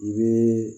U bɛ